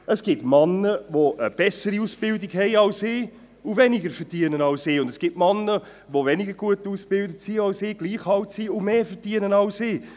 Es gibt Männer, die eine bessere Ausbildung haben als ich und weniger verdienen, und es gibt Männer, die weniger gut ausgebildet und gleich alt sind wie ich, und mehr verdienen.